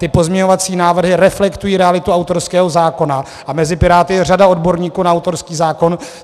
Ty pozměňovací návrhy reflektují realitu autorského zákona a mezi Piráty je řada odborníků na autorský zákon.